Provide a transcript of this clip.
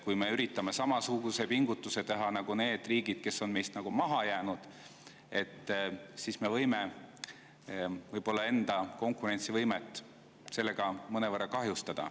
Kui me üritame samasuguse pingutuse teha nagu need riigid, kes on meist maha jäänud, siis me võime enda konkurentsivõimet sellega mõnevõrra kahjustada.